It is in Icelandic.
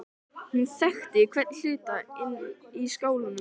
Hún þekkti hvern hlut inni í skálanum.